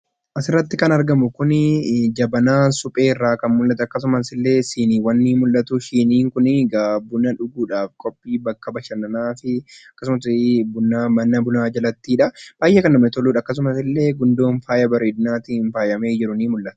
Asirratti kan argamu kun jabanaa suphee irraa kan mul'atu akkasumas illee shiniiwwan ni mul'atu. Shiniiwwan kun egaa buna dhuguudhaaf, qophii bakka bashannanaati. Akkasumasana bunaati. Baay'ee kan namatti toludha.